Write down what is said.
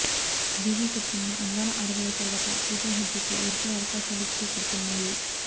DJ చిత్రంలో అందాల ఆరబోత తరువాత పూజా హెగ్డే కు వరుసగా అవకాశాలు క్యూ కడుతున్నాయి